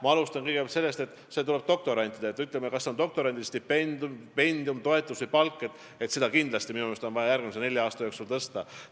Ma alustan sellest, et on see siis doktorandi stipendium, toetus või palk, seda on minu meelest kindlasti vaja järgmise nelja aasta jooksul tõsta.